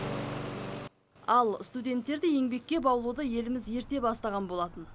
ал студенттерді еңбекке баулуды еліміз ерте бастаған болатын